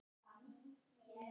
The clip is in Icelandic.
Það var fólk þarna inni!